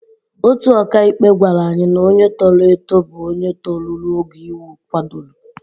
Otu ọkàikpe gwara anyị na onye toro eto bụ onye toruru ogo iwu kwadoro.